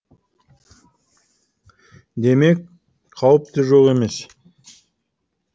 демек қауіп те жоқ емес